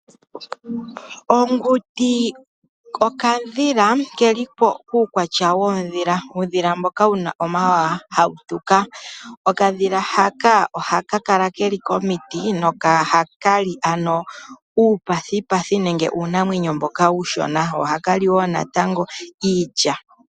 Onguti okadhila ke li puukwatya woondhila. Oondhila ndhoka dhi na omawawa hawu tuka. Okadhila haka tuka. Okadhila haka ohaka kala ke li komiti nohaka li uupathipathi, ano uunamwenyo mboka uushona ko ohaka li wo natango iilya.